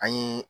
An ye